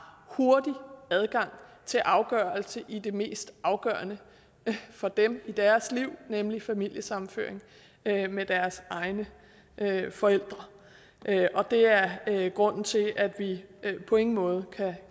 hurtig adgang til afgørelse i det mest afgørende for dem i deres liv nemlig familiesammenføring med deres egne forældre og det er grunden til at vi på ingen måde